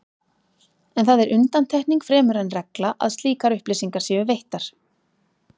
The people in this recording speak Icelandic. En það er undantekning fremur en regla að slíkar upplýsingar séu veittar.